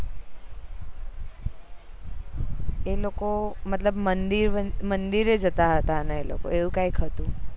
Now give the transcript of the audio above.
એ લોકો મતલબ મંદિર જતા હતા ને એ લોકો એવું કય હતું